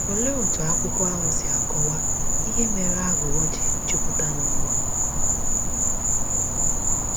Olee otú akwụkwọ ahụ si akọwa ihe mere aghụghọ ji jupụta n’ụwa?